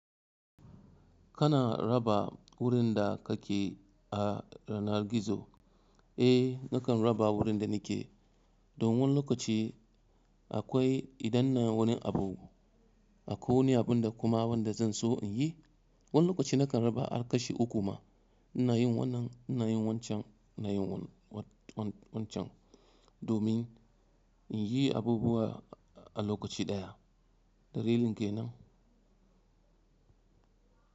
Kana raba wurin da kake a yanar gizo? Eh nakan raba wurin da nike, don wani lokaci akwai idan ina wani abu, akwai wani abun da kuma wanda zan so in yi. Wani lokaci nakan raba har kashi uku ma, ina yin wannan, ina yin wancan, ina yin wancan, domin in yi abubuwa a lokaci ɗaya. Da lilin ke nan.